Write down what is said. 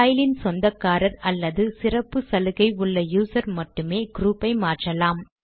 பைலின் சொந்தக்காரர் அல்லது சிறப்பு சலுகை உள்ள யூசர் மட்டுமே க்ரூப் ஐ மாற்றலாம்